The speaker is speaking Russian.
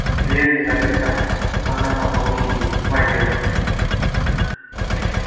дверь не заперта она на полу сидит в одежде